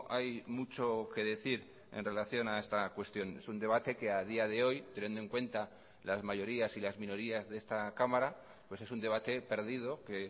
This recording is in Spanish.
hay mucho que decir en relación a esta cuestión es un debate que a día de hoy teniendo en cuenta las mayorías y las minorías de esta cámara pues es un debate perdido que